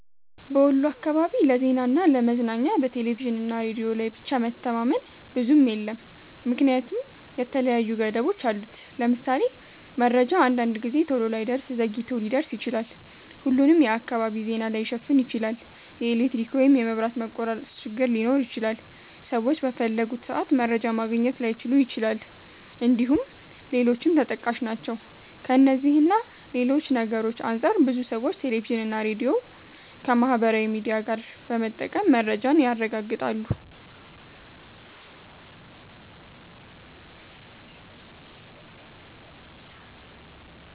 በወሎ አካባቢ ለዜናና ለ ለመዝናኛ በቴሌቪዥንና ሬዲዮ ላይ ብቻ መተማመን ብዙም የለም ምክንያቱም የተለያዩ ገደቦች አሉት። ለምሳሌ:- መረጃ አንዳንድ ጊዜ ቶሎ ላይደርስ ዘግይቶ ሊደርስ ይችላል፣፣ ሁሉንም የአካባቢ ዜና ላይሸፍን ይችላል፣ የኤሌክትሪክ ወይም የመብራት መቆራረጥ ችግር ሊኖር ይችላል፣ ሰዎች በፈለጉት ሰአት መረጃ ማግኘት ላይችሉ ይችላል እንድሁም ሌሎችም ተጠቃሽ ናቸው። ከእነዚህ እና ሌሎች ነገርሮች አንፃር ብዙ ሰዎች ቴሌቪዥንና ሬዲዮን ከማህበራዊ ሚዲያ ጋር በመጠቀም መረጃን ያረጋግጣሉ።